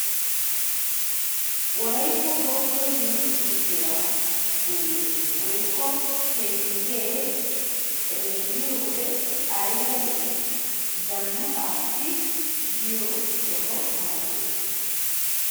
Wolaytta sooddo yunburshiya shuure woykko penggee xeelliyo wode ayba lo"ii. Zannaqaassi yiyo soho malates.